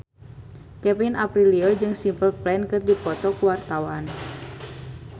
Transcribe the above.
Kevin Aprilio jeung Simple Plan keur dipoto ku wartawan